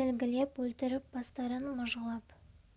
тілгілеп өлтіріп бастарын мыжғылап